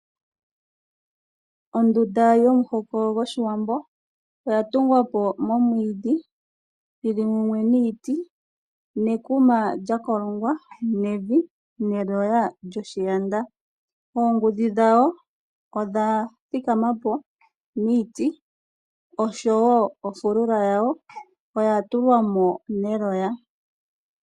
Ondunda yomuhoko go shiwambo oya tungwa po nomwiidhi yi li mumwe niiti nekuma lya kolongwa nevi ,ne loya lyoshiyanda oongudhi dhawo odha thika ma po miiti osho wo ofulula ya yo oya tulwa mo neloya.